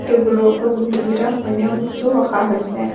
টেবুলৰ ওপৰত বহুতকেইটা অন্য বস্তুও ৰখা হৈছে।